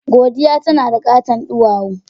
Godiya tana da katon duwawu.